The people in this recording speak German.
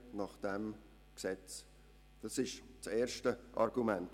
Dies ist das erste Argument.